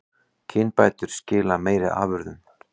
Kynbætur skila meiri afurðum